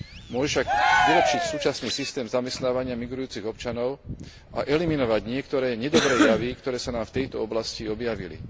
Môže však vylepšiť súčasný systém zamestnávania migrujúcich občanov a eliminovať niektoré nedobré javy, ktoré sa nám v tejto oblasti objavili.